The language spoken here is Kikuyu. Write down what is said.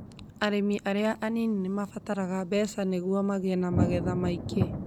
Arĩmi arĩa anini nĩ mabataraga mbeca nĩguo magĩe na magetha maingĩ